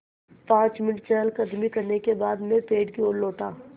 पाँच मिनट चहलकदमी करने के बाद मैं पेड़ की ओर लौटा